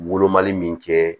Wolomali min kɛ